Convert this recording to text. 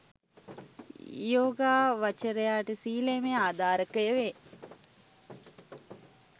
යෝගාවචරයාට සීලයම ආධාරකය වේ.